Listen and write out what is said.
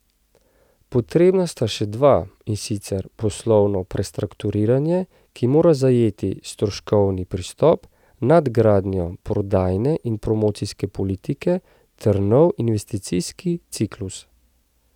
Potrebna sta še dva, in sicer poslovno prestrukturiranje, ki mora zajeti stroškovni pristop, nadgradnjo prodajne in promocijske politike ter nov investicijski ciklus.